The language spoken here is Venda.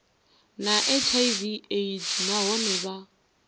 na hiv aids nahone vha